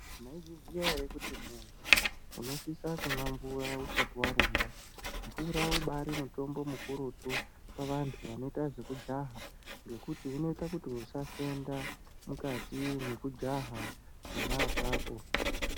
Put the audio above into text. Mwaizviziya ere kuti muntu unosisa kumwa mvura usati warumba. Mvura ubari mutombo mukurutu kuvantu vanoita zvekujaha ngekuti inoita usafenda mukati mwekujaha pona apapo.